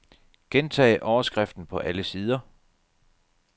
Gentag overskriften på alle sider.